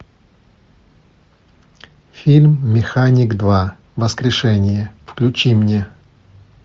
фильм механик два воскрешение включи мне